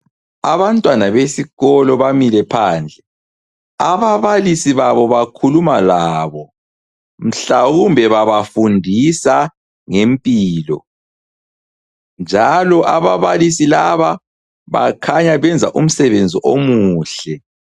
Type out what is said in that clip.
Abantwana besikolo bamile phandle, ababalisi babo bakhuluma labo mhlawumbe babafundisa ngempilo njalo ababalisi laba bakhanya bayenza umsebenzi omuhle.